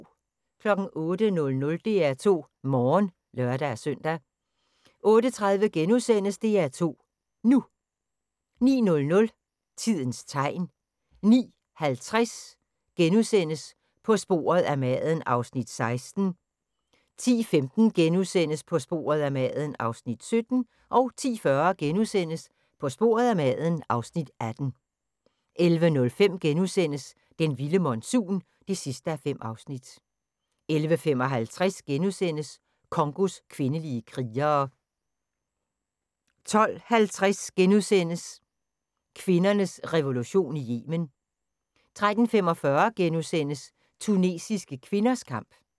08:00: DR2 Morgen (lør-søn) 08:30: DR2 NU * 09:00: Tidens tegn 09:50: På sporet af maden (Afs. 16)* 10:15: På sporet af maden (Afs. 17)* 10:40: På sporet af maden (Afs. 18)* 11:05: Den vilde monsun (5:5)* 11:55: Congos kvindelige krigere * 12:50: Kvindernes revolution i Yemen * 13:45: Tunesiske kvinders kamp *